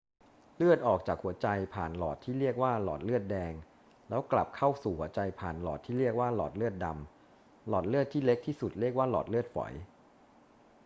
เลือดออกจากหัวใจผ่านหลอดที่เรียกว่าหลอดเลือดแดง แล้วกลับเข้าสู่หัวใจผ่านหลอดที่เรียกว่าหลอดเลือดดำ หลอดเลือดที่เล็กที่สุดเรียกว่าหลอดเลือดฝอย